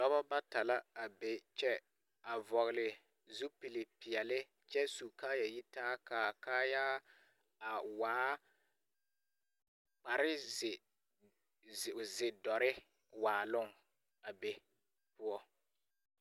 Dɔbɔ bata la a be kyɛ, a vɔgele zupilpeɛle kyɛ su kaayɛyitaa. K'a kaayɛ a waa kpareze...ze... zedɔrre waaloŋ a be poɔ.